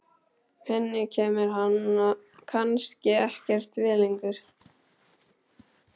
Henni kemur hann kannski ekkert við lengur.